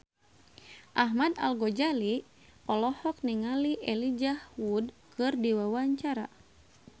Ahmad Al-Ghazali olohok ningali Elijah Wood keur diwawancara